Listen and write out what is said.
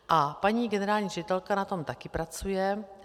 A paní generální ředitelka na tom taky pracuje.